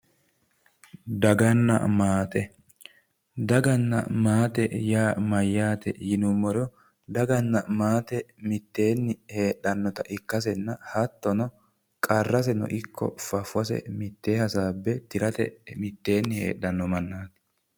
daganna maate daganna maate yaa mayyaate yinummoro daganna maate mitteenni heedhannota ikkasenna hattono qarraseno ikko faffose mitte hasaabbe tirate mittenni heedhanno mannaati.